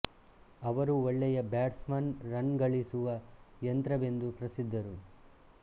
ಅವರು ಒಳ್ಳೆಯ batsman run ಗಳಿಸುವ ಯಂತ್ರವೆಂದು ಪ್ರಸಿದ್ಧರು